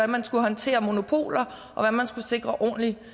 man skulle håndtere monopoler og hvordan man skulle sikre ordentlig